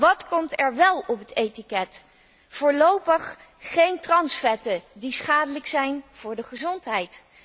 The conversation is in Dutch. Wat komt er wel op het etiket? Voorlopig geen transvetten, die schadelijk zijn voor de gezondheid.